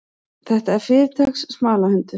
Þetta er fyrirtaks smalahundur.